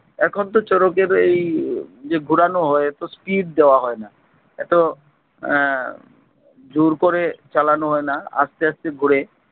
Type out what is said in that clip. এখন তো শরতের এই যে ঘুরানো হয় এত speed দেওয়া হয় না এত আহ জোর করে চালানো হয় না, আস্তে আস্তে ঘুরে।